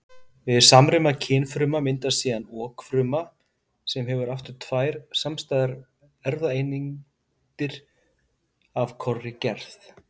Við samruna kynfrumna myndast síðan okfruma sem hefur aftur tvær samstæðar erfðaeindir af hvorri gerð.